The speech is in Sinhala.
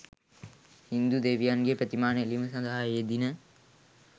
හින්දු දෙවියන්ගේ ප්‍රතිමා නෙලීම සඳහා යෙදිණ.